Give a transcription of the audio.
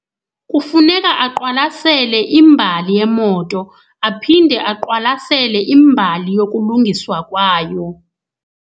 Kufuneka aqwalasele imbali yemoto, aphinde aqwalasele imbali yokulungiswa kwayo.